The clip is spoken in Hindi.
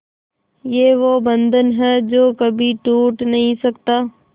ये वो बंधन है जो कभी टूट नही सकता